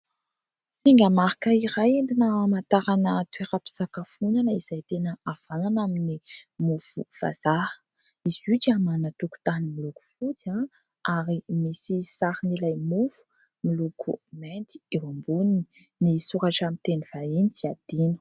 Singa marika iray entina hamantarana toeram-pisakafoanana izay tena havanana amin'ny mofo vazaha. Izy io dia manana tokotany miloko fotsy ary misy sarin'ilay mofo miloko mainty eo amboniny. Ny soratra amin'ny teny vahiny tsy hadino.